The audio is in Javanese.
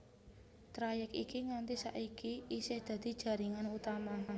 Trayèk iki nganti saiki isih dadi jaringan utama